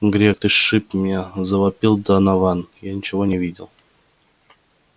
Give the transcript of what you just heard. грег ты сшиб меня завопил донован я ничего не видел